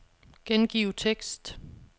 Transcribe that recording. Gengiv tekst.